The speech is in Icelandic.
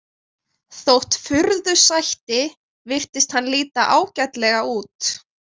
Þótt furðu sætti virtist hann líta ágætlega út.